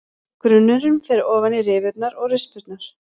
Grunnurinn fer ofan í rifurnar og rispurnar.